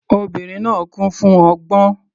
Obìnrin náà kún fún ọgbọ́n.